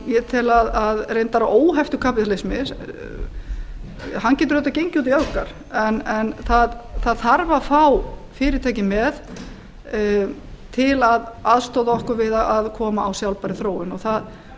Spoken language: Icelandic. ég tel reyndar að óheftur kapítalisma hann getur auðvitað gengið út í öfgar en það þarf að fá fyrirtækin með til að aðstoða okkur við að koma á sjálfbærri þróun og